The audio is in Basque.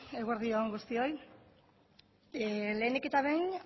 eguerdi on guztioi lehenik eta behin